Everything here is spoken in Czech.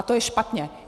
A to je špatně.